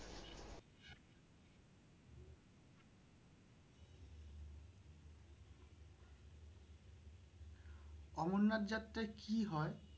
অমরনাথ যাত্রায় কি হয়?